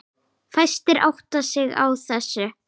Fæstir átta sig á þessu.